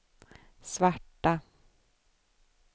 svarta